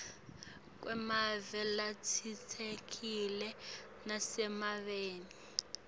kwemave latsintsekile nasemaveni